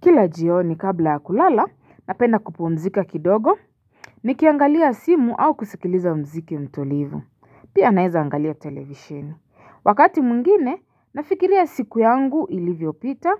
Kila jioni kabla ya kulala napenda kupumzika kidogo nikiangalia simu au kusikiliza mziki tulivu. Pia naeza angalia televisheni wakati mwingine nafikiria siku yangu ilivyopita